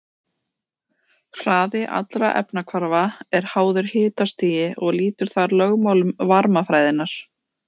Hraði allra efnahvarfa er háður hitastigi og lýtur þar lögmálum varmafræðinnar.